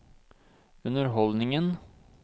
underholdningen